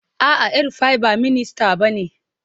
A'a, El Rufai ba minista bane.